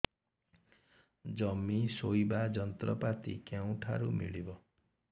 ଜମି ରୋଇବା ଯନ୍ତ୍ରପାତି କେଉଁଠାରୁ ମିଳିବ